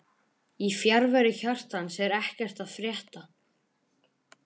Í fjarveru hjartans er ekkert að frétta